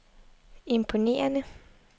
imponerende